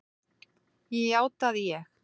Ég játa að ég